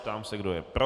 Ptám se, kdo je pro.